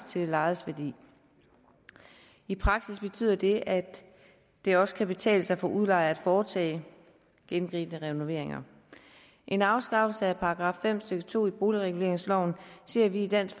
til det lejedes værdi i praksis betyder det at det også kan betale sig for udlejere at foretage gennemgribende renoveringer en afskaffelse af § fem stykke to i boligreguleringsloven ser vi i dansk